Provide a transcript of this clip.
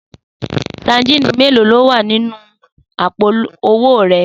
Sadíìnì mélòó ló wà nínú àpò o̩wó̩ re̩?